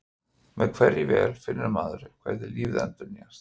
Með hverri vél finnur maður hvernig lífið endurnýjast.